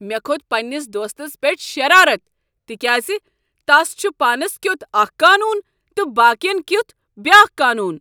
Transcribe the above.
مےٚ کھوٚت پنٛنس دوستس پیٹھ شرارت تکیاز تس چھ پانس کیتھ اکھ قانون تہٕ باقین کیتھ بیاکھ قانون۔